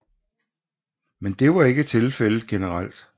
Men det var ikke tilfældet generelt